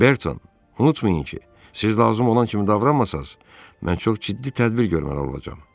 Berton, unutmayın ki, siz lazım olan kimi davranmasanız, mən çox ciddi tədbir görməli olacam.